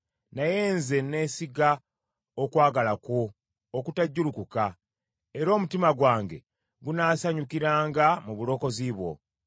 Naye nze neesiga okwagala kwo okutajjulukuka; era omutima gwange gunaasanyukiranga mu bulokozi bwo.